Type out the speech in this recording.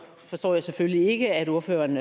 forstår jeg selvfølgelig ikke at ordføreren